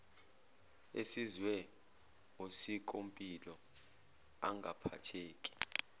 esizwe osikompilo angaphatheki